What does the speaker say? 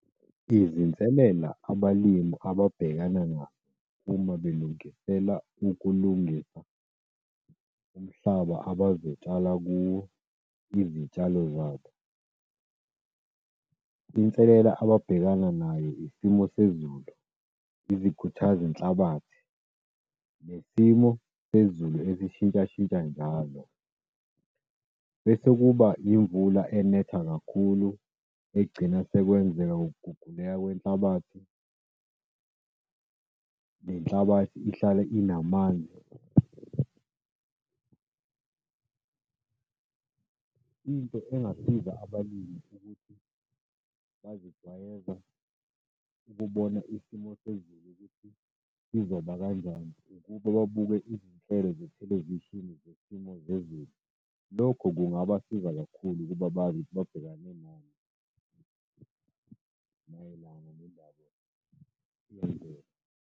Izinselela abalimi ababhekana nazo uma belungisela ukulungisa umhlaba abazotshala kuwo izitshalo zabo, inselela ababhekana nayo isimo sezulu, izikhuthazi zenhlabathi, nesimo sezulu esishintshashintsha njalo, bese kuba imvula enetha kakhulu, egcina sekwenzeka ukuguguleka kwenhlabathi. Nenhlabathi ihlale inamanzi. Into engasiza abalimi ukuthi bazijwayeze ukubona isimo sezulu ukuthi sizoba kanjani, ukuba babuke izinhlelo zethelevishini zesimo zezulu. Lokho kungabasiza kakhulu ukuba bazi babhekane nani mayelana nendaba .